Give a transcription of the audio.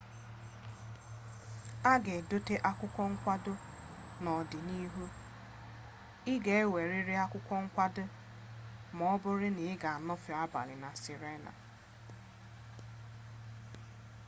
a ga-edote akwụkwọ nkwado n'ọdịnihu ị ga-enwerịrị akwụkwọ nkwado ma ọbụrụ na ị ga-anọfe abali na sirena